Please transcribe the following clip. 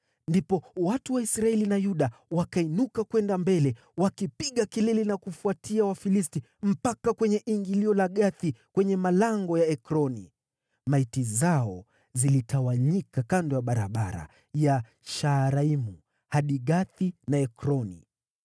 Ndipo watu wa Israeli na Yuda wakainuka kwenda mbele wakipiga kelele na kufuatia Wafilisti mpaka kwenye ingilio la Gathi kwenye malango ya Ekroni. Maiti zao zilitawanyika kando ya barabara ya Shaaraimu hadi Gathi na Ekroni.